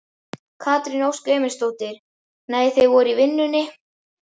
Katrín Ósk Emilsdóttir: Nei þau voru í vinnunni?